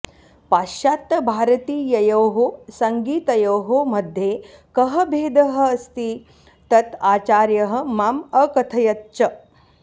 पाश्चात्यभारतीययोः संगीतयोः मध्ये कः भेदः अस्ति तत् आचार्यः माम् अकथयत् च